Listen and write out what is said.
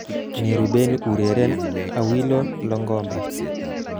Neruben ureren 'awilo longomba'